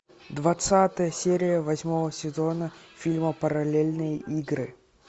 двадцатая серия восьмого сезона фильма параллельные игры